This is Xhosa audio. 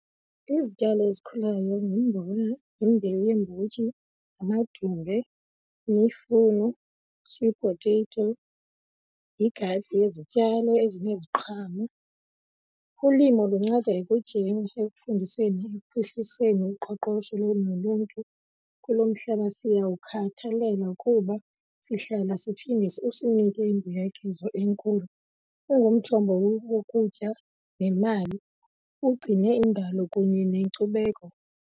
Izityalo ezikhulayo ngumbona, yimbewu yeembotyi, amadumbe, yimifuno, sweet potato, yigadi yezityalo ezineziqhamo. Ulimo lunceda ekutyeni, ekufundiseni, ekuphuhliseni uqoqosho kunye noluntu kulo mhlaba. Siyawukhathalelwa kuba sihlala siphinde usinike imbuyekezo enkulu. Ungumthombo wokutya nemali, ugcine indalo kunye nenkcubeko.